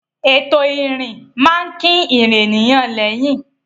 Ètò ìrìn máa ń kín ìrìn ènìyàn lẹ́yìn.